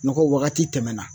Nɔgɔ wagati tɛmɛna